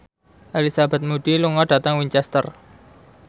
Elizabeth Moody lunga dhateng Winchester